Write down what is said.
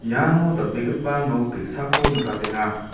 iano dal·begipa nok ge·sako nikatenga.